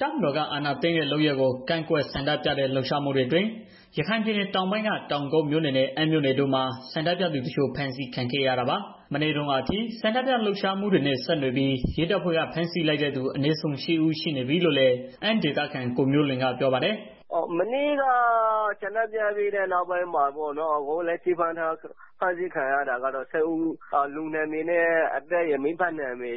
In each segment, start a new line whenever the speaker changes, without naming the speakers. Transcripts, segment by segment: တပ်မတော်က အာဏာသိမ်းတဲ့ လုပ်ရပ်ကို ကန့်ကွက်ဆန္ဒပြတဲ့ လှုပ်ရှားမှုတွေအတွင်း ရခိုင်ပြည်နယ်တောင်ပိုင်းက တောင်ကုတ်မြို့နယ်နဲ့ အမ်းမြို့နယ်တို့မှာ ဆန္ဒပြသူတချို့ ဖမ်းဆီးခံခဲ့ရတာပါ။ မနေ့တုန်းကအထိ ဆန္ဒပြလှုပ်ရှားမှုတွေနဲ့ ဆက်နွယ်ပြီး ရဲတပ်ဖွဲ့က ဖမ်းဆီးလိုက်တဲ့သူ အနည်းဆုံး ၈ ဦး ရှိနေပြီလို့လည်း အမ်းဒေသခံ ကိုမျိုးလွင်ကပြောပါတယ်
။ “မနေ့က ဆန္ဒထုတ်ဖော်ပြီးတဲ့ နောက်ပိုင်းမှာ လက်ရှိ ဖမ်းထားတာကတော့ ၈ ဦးရှိနေတယ်။ ပေါ့နော်။ ကျနော်ဆီမှာ လူနာမည်နဲ့ အဖအမည်တွေ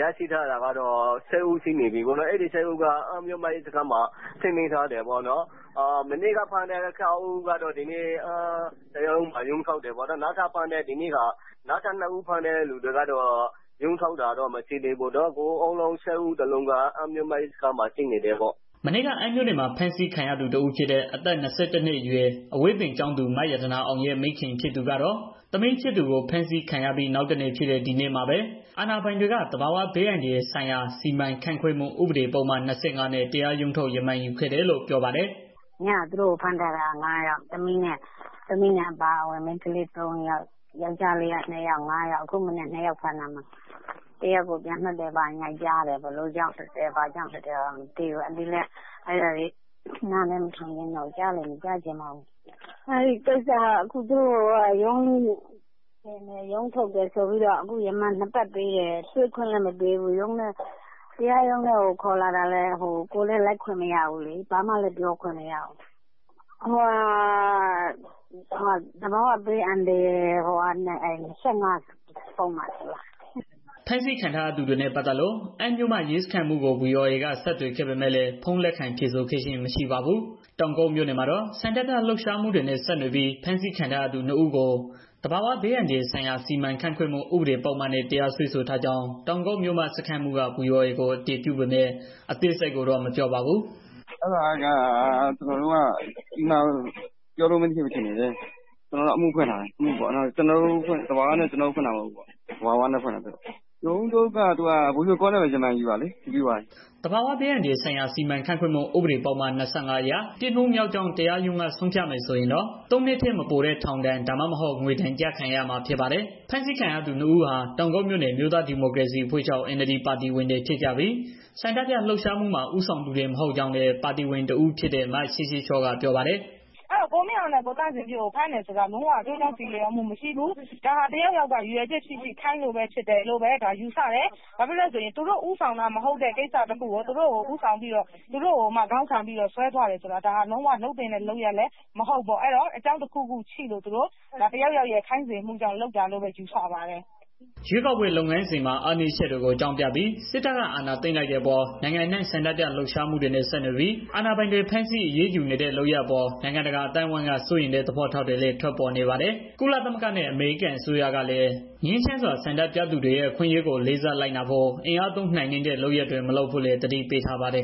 ရောက်နေတာကတော့ ၈ ဦးရှိနေပြီပေါ့နော်။ အဲဒီ ၈ ဦးက အမ်းမြို့မ ရဲစခန်းမှာ ထိန်းသိမ်းထားတယ်ပေါ့နော်။ မနေ့က ဖမ်းတဲ့ ၆ ဦးကတော့ အမ်းတရားရုံးမှာ ရုံးထုတ်တယ်ပေါ့နော်။ ဒီနေ့ဖမ်းတဲ့နှစ်ဦးကတော့ ရုံးမထုတ် သေးဘူး။ ၈ ဦးလုံးက အမ်းမြို့မ ရဲစခန်းမှာ ရှိနေပါတယ်။
” မနေ့က အမ်းမြို့နယ်မှာ ဖမ်းဆီးခံရသူ တဦးဖြစ်တဲ့ အသက် ၂၁ နှစ်အရွယ် အဝေးသင်ကျောင်းသူ မရတနာအောင်ရဲ့ မိခင်ဖြစ်သူကတော့ သမီးဖြစ်သူကို ဖမ်းဆီးခံရပြီး နောက်တနေ့ဖြစ်တဲ့ ဒီနေ့မှာပဲ အာဏာပိုင်တွေက သဘာဝဘေးအန္တရာယ်ဆိုင်ရာ စီမံခန့်ခွဲမှု ဥပဒေပုဒ်မ၂၅ နဲ့ တရားရုံးထုတ် ရမာန်ယူခဲ့တယ်လို့ ပြောပါတယ်
။ “ညက သူတို့ကို ဖမ်းသွားတာ ၆ ယောက် သမီးအပါအဝင်၊ မိန်းကလေး သုံးယောက်၊ ယောကျာ်းလေး ၂ နှစ်ယောက်၊ ဒီမနက် ၂ ယောက် ထပ် ဖမ်းတယ်။ အဲဒီမှာ တစ်ယောက်ပြန်လွှတ် လိုက်တယ်လို့ ကြားတယ်။ ဘာကြောင့် ပြန်လွှတ်လိုက်လဲ ဆိုတာတော့မသိဘူး။ ကြားလည်းမကြားချင်တော့ဘူး။ ဒီနေ့က သူတို့ကို ရုံးထုတ်တယ်။ ပြီးတော့ ရမန် နှစ်ပတ် ပေးတယ်။ တွေ့ခွင့်လည်းမပေးဘူး။ တရားရုံးထဲ ခေါ်လာတာလည်း ကိုယ်လည်း လိုက်ခွင့်မရဘူး။ သဘာဝဘေးအန္တရာယ် ၂၅ ပုဒ်မဆို
လားအဲဒါနဲ့ စွဲထားတာ။” ဖမ်းဆီးခံထားရသူတွေနဲ့ ပတ်သတ်လို့ အမ်းမြို့မရဲစခန်းမှူးကို ဗွီအိုအေက ဆက်သွယ်ခဲ့ပေမဲ့လည်း ဖုန်းလက်ခံဖြေဆိုခဲ့ခြင်းမရှိပါဘူး။ တောင်ကုတ်မြို့နယ်မှာတော့ ဆန္ဒပြလှုပ်ရှားမှုတွေနဲ့ ဆက်နွယ်ပြီး ဖမ်းဆီးထားသူ ၂ ဦးကို သဘာဝဘေးအန္တရာယ်ဆိုင်ရာ စီမံခန့်ခွဲမှု ဥပဒေပုဒ်မနဲ့ တရားစွဲဆိုထားကြောင်း တောင်ကုတ်မြို့မ စခန်းမှူးက ဗွီအိုအေကို အတည်ပြုပေမဲ့ အသေးစိတ်ကိုတော့ မပြောပါဘူး။
“ကျနော်တို့ကတော့ အမှုဖွင့်ထားတယ်။ သဘာဝဘေးစီမံနဲ့ ဖွင့်ထားတာ သူ့ကို ရုံးထုတ်ကလည်း Video ရောနဲ့ပဲ ရမန်ယူတာလေ ပြီးသွားပါပြီ။” သဘာဝဘေးအန္တရာယ်ဆ
ိုင်ရာ စီမံခန့်ခွဲမှု ဥပဒေပုဒ်မ ၂၅ အရ ပြစ်မှုမြောက်ကြောင်း တရားရုံးက ဆုံးဖြတ်မယ် ဆိုရင်တော့ ၃ နှစ်ထက် မပိုတဲ့ထောင်ဒဏ် ဒါမှမဟုတ် ငွေဒဏ် ကျခံရမှာဖြစ်ပါတယ်။ ဖမ်းဆီးခံရသူ ၂ ဦးဟာ တောင်ကုတ်မြို့နယ် အမျိုးသားဒီမိုကရေစီအဖွဲ့ချုပ် NLD ပါတီဝင်တွေ ဖြစ်ကြပြီး ဆန္ဒပြလှုပ်ရှားမှုမှာ ဦးဆောင်သူတွေ မဟုတ်ကြောင်းလည်း ပါတီဝင်တဦးဖြစ်တဲ့ မချစ်ချစ်ချော့က ပြောပါတယ်။
“ကိုမင်းအောင်နဲ့ ကိုသန့်ဇင်ဖြိုးကို ဖမ်းတယ်ဆိုတာ လုံးဝ ကျိုးကြောင်း ဆီလျော်မှုမရှိဘူး။ ဒါဟာ တစ်ယောက်ယောက်က ရည်ရွယ်ချက်ရှိရှိခိုင်းလို့ ဖမ်းတယ်လို့ပဲ ယူဆတယ်။ ဘာဖြစ် လို့လည်းဆိုတော့ သူတို့ ဦးဆောင်တာ မဟုတ်တဲ့ ကိစ္စတစ်ခုကို သူတို့ ဦးဆောင်တယ် ဆိုပြီးတော့ သူတို့ကို ဆွဲသွားတယ်ဆိုတာ ဒါလုံးဝ လုပ်သင့်တဲ့ လုပ်ရပ်လည်း မဟုတ်ဘူးပေါ့။ ဒါတစ်ယောက်ယောက်ရဲ့ ခိုင်းစေမှုကြောင့် လုပ်တယ်လို့ပဲ ယူဆပါတယ်။”
ရွေးကောက်ပွဲ လုပ်ငန်းစဉ်မှာ အားနည်းချက်တွေကို အကြောင်းပြပြီး စစ်တပ်က အာဏာသိမ်းလိုက်တဲ့အပေါ် နိုင်ငံအနှံ့ ဆန္ဒပြလှုပ်ရှားမှုတွေနဲ့ ဆက်နွယ်ပြီး အာဏာပိုင်တွေ ဖမ်းဆီးအရေးယူနေတဲ့ လုပ်ရပ်အပေါ် နိုင်ငံတကာ အသိုင်းအဝန်းက စိုးရိမ်တဲ့ သဘောထားတွေလည်း ထွက်ပေါ်နေပါတယ်။ ကုလသမဂ္ဂနဲ့ အမေရိကန်အစိုးရကလည်း ငြိမ်းချမ်းစွာ ဆန္ဒပြသူတွေရဲ့ အခွင့်အရေးကို လေးစားလိုက်နာဖို့ အင်အားသုံးနှိမ်နင်းတဲ့ လုပ်ရပ်တွေ မလုပ်ဖို့လည်း သတိပေးထားပါတယ်